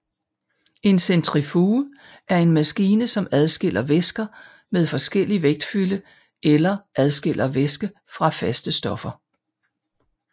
En centrifuge er en maskine som adskiller væsker med forskellig vægtfylde eller adskiller væske fra faste stoffer